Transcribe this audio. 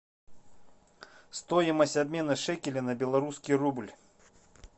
стоимость обмена шекеля на белорусский рубль